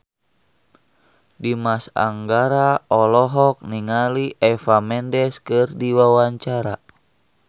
Dimas Anggara olohok ningali Eva Mendes keur diwawancara